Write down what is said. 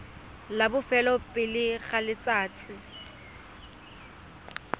la bofelo pele ga letsatsi